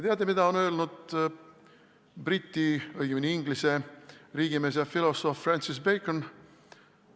Teate, mida on öelnud Briti, õigemini Inglise riigimees ja filosoof Francis Bacon?